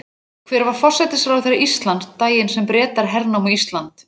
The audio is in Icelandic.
Hver var forsætisráðherra Íslands daginn sem Bretar hernámu Ísland?